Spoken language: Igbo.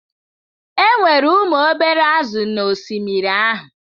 Enwere ụmụ obere azụ̀ n'osimiri ahụ.